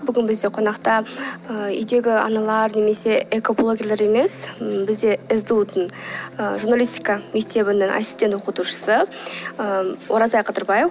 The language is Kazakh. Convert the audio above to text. бүгін бізде қонақта ы үйдегі аналар немесе экоблогерлер емес м бізде сду дың ы журналистика мектебінің ассистент оқытушысы ы ораза қадырбаев